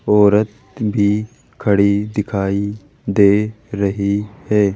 औरत भी खड़ी दिखाई दे रही है।